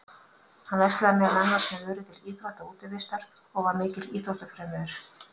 Hann verslaði meðal annars með vörur til íþrótta og útivistar og var mikill íþróttafrömuður.